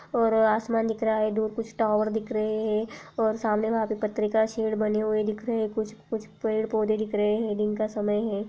उअरर आसमान दिख रहा है। दूर कुछ टावर दिख रहे और सामने वहाँ पत्रिका शेड बने हुए दिख रहे हैं। कुछ पेड़ पौध दिख रहे हैं। दिन का समय है।